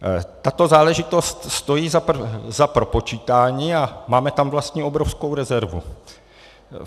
Tato záležitost stojí za propočítání a máme tam vlastně obrovskou rezervu.